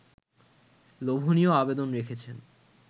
লোভনীয় আবেদন রেখেছেন